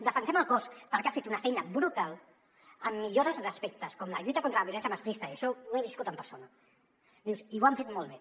defensem el cos perquè ha fet una feina brutal en millores d’aspectes com la lluita contra la violència masclista i això ho he viscut en persona i ho han fet molt bé